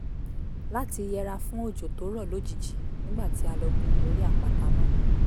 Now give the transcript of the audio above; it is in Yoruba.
láti yẹra fún òjò tó rọ̀ lójijì nígbà tí a lọ gun orí àpáta náà